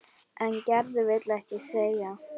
En Gerður vill ekki selja.